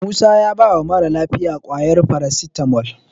Musa ya bawa mara lafiyar ƙwayar farasitamol.